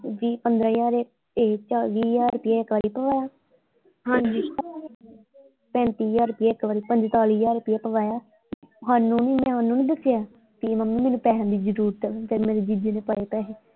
ਦੀ ਪੰਦਰਾਂ ਹਜ਼ਾਰ ਇਹ ਵੀਹ ਹਜ਼ਾਰ ਰੁਪਈਆ ਇੱਕ ਵਾਰੀ ਪਵਾਇਆ ਹਾਂਜੀ ਪੈਂਤੀ ਹਜ਼ਾਰ ਰੁਪਈਆ ਇੱਕ ਵਾਰੀ ਪੰਤਾਲੀ ਹਜ਼ਾਰ ਰੁਪਈਆ ਪਵਾਇਆ ਸਾਨੂੰ ਨਹੀਂ ਮੈਂ ਓਹਨੂੰ ਨਹੀਂ ਦੱਸਿਆ ਬੀ ਮੰਮੀ ਮੈਨੂੰ ਪੈਸਿਆਂ ਦੀ ਜਰੂਰਤ ਆ ਫੇਰ ਮੇਰੇ ਜੀਜੇ ਨੇ ਪਾਏ ਪੈਸੇ।